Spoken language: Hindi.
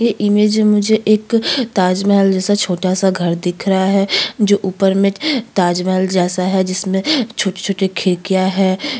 ये इमेज में मुझे एक ताजम हल जैसा छोटा-सा घर दिख रहा है जो ऊपर में ताजमहल जैसा है जिसमे छोटे-छोटे खिड़कियां है।